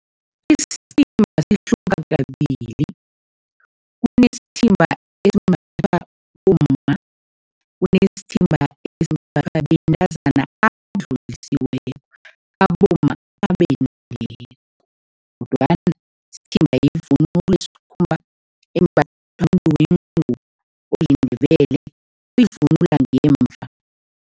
Isithimba sihluka kabili. Kunesithimba esimbathwa bomma, kunesithimba esimbathwa bentazana abadlulisileko, abomma abendileko kodwana isithimba yivunulo embathwa oliNdebele, uyivunula ngemva.